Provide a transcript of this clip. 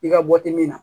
I ka bɔ timin na